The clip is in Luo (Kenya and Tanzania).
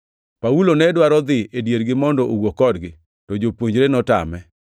Paulo ne dwaro dhi e diergi mondo owuo kodgi, to jopuonjre notame.